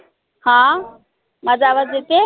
हा माझा आवाज येतय